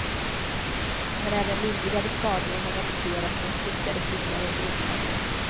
Men även lindrigare skador har rapporterats som stukade fingrar och brutna ben.